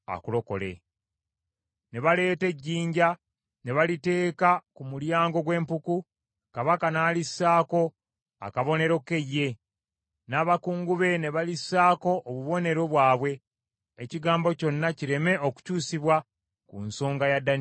Ne baleeta ejjinja ne baliteeka ku mulyango gw’empuku, kabaka n’alissaako akabonero ke ye, n’abakungu be ne balissaako obubonero bwabwe, ekigambo kyonna kireme okukyusibwa ku nsonga ya Danyeri.